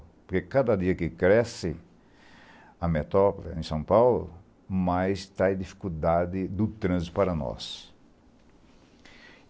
Porque cada dia que cresce a metrópole em São Paulo, mais trai dificuldade do trânsito para nós.